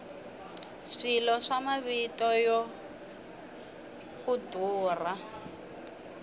swilo swa mavito ya ku durha